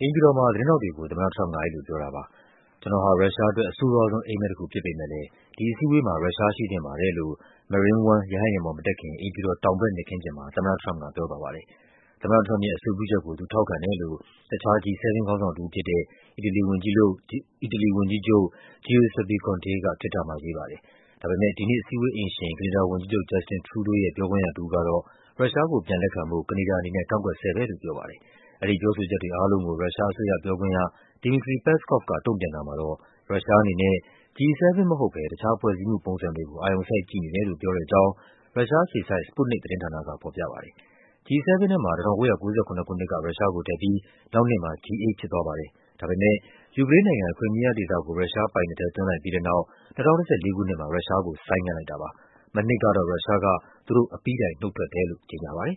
အိမ်ဖြူတော်မှာ သတင်းထောက်တွေကို သမ္မတထရမ့်ပ်က အဲဒီလိုပြောတာပါ။ “ကျနော်ဟာ ရုရှားအတွက် အဆိုးရွားဆုံး အိပ်မက်တခုဖြစ်ပေမဲ့လည်း ဒီအစည်းအဝေးမှာ ရုရှားရှိသင့်ပါတယ်လို့ Marine One ရဟတ်ယာဉ်ပေါ် မတက်ခင် အိမ်ဖြူတော် တောင်ဘက်မြက်ခင်းပြင်မှာ သမ္မတထရမ့်ပ်က ပြောသွားပါတယ်။ သမ္မတထရမ့်ပ်ရဲ့ အဆိုပြုချက်ကို သူထောက်ခံတယ်လို့ တခြား G-7 ခေါင်းဆောင်တဦးဖြစ်တဲ့ အီတလီဝန်ကြီးချုပ် Giuseppe Conte က Twitter မှာရေးပါတယ်။ ဒါပေမဲ့ ဒီနှစ်အစည်းအဝေးအိမ်ရှင် ကနေဒါဝန်ကြီးချုပ် Justin Trudeau ရဲ့ ပြောခွင့်ရတဦးကတော့ ရုရှားကို ပြန်လက်ခံဖို့ ကနေဒါအနေနဲ့ ကန့်ကွက်ဆဲပဲလို့ ပြောပါတယ်။ အဲဒီပြောဆိုချက်တွေအားလုံးကို ရုရှားအစိုးရ ပြောခွင့်ရ Dmitry Peskov က တုန့်ပြန်တာမှာတော့ “ရုရှားအနေနဲ့ G-7 မဟုတ်ဘဲ တခြားဖွဲ့စည်းမှုပုံစံတွေကို အာရုံစိုက်ကြည့်နေတယ်” လို့ ပြောတဲ့အကြောင်း ရုရှားအခြေစိုက် Sputnik သတင်းဌာနက ဖော်ပြပါ တယ်။ G-7 ထဲမှာ ၁၉၉၇ ခုနှစ်က ရုရှားကိုထည့်ပြီး နောက်နှစ်မှာ G-8 ဖြစ်သွားပါတယ်။ ဒါပေမဲ့ ယူကရိန်းနိုင်ငံက Crimea ဒေသကို ရုရှားပိုင်နက်ထဲ သွင်းလိုက်ပြီးတဲ့နောက် ၂၀၁၄ ခုနှစ်မှာ ရုရှားကို ဆိုင်းငံ့ထားတာပါ။ မနှစ်ကတော့ ရုရှားက သူတို့ အပြီးတိုင် နုတ်ထွက်တယ်လို့ ကြေညာပါတယ်